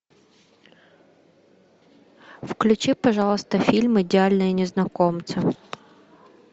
включи пожалуйста фильм идеальные незнакомцы